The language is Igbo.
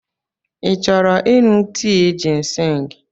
Ị chọrọ ịṅụ tii jịnsịng?